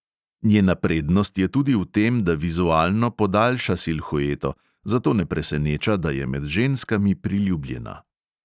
Njena prednost je tudi v tem, da vizualno podaljša silhueto, zato ne preseneča, da je med ženskami priljubljena.